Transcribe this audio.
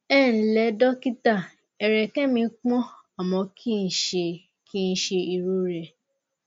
ẹǹlẹ́ dẹ́kítà ẹ̀rẹ̀kẹ́ mi pọ́n àmọ kìí ṣe kìí ṣe ìrọrẹ